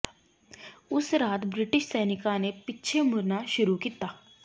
ਉਸ ਰਾਤ ਬ੍ਰਿਟਿਸ਼ ਸੈਨਿਕਾਂ ਨੇ ਪਿੱਛੇ ਮੁੜਨਾ ਸ਼ੁਰੂ ਕੀਤਾ